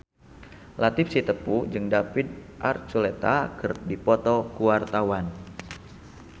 Latief Sitepu jeung David Archuletta keur dipoto ku wartawan